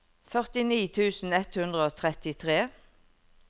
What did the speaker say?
førtini tusen ett hundre og trettitre